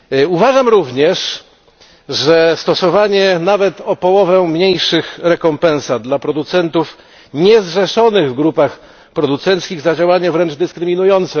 Uważam również stosowanie nawet o połowę mniejszych rekompensat dla producentów niezrzeszonych w grupach producentów za działanie wręcz dyskryminujące.